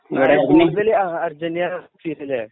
Yusuffali Argentina fans അല്ലെ